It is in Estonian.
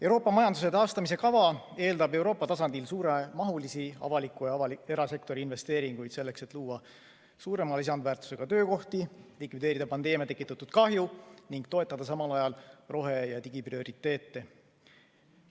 Euroopa majanduse taastamise kava eeldab Euroopa tasandil suuremahulisi avaliku ja erasektori investeeringuid selleks, et luua suurema lisandväärtusega töökohti, likvideerida pandeemia tekitatud kahju ning toetada samal ajal rohe- ja digiprioriteete.